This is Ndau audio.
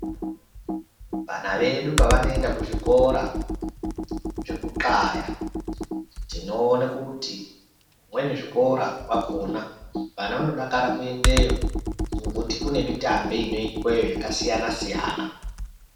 Vana vedu pavanoenda kuzvikora zvekuxlaya tinoona kuti zvimweni zvikora kwakona vana vanodakara kuendayo. Ngekuti kune mitambe inoitwa yo yakasiyana siyana.